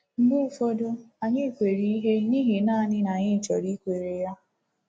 Mgbe ụfọdụ, anyị kweere ihe n’ihi naanị na anyị chọrọ ikwere ya.